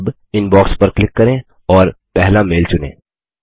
अब इनबॉक्स पर क्लिक करें और पहला मेल चुनें